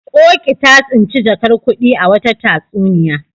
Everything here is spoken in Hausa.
Ƙoƙi ta tsinci jakar kuɗi a wata tatsuniya.